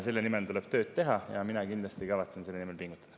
Selle nimel tuleb tööd teha ja mina kindlasti kavatsen selle nimel pingutada.